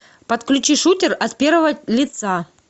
подключи шутер от первого лица